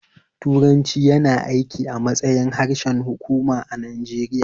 Turanci yana aiki a matsayin harshen hukuma a Najeriya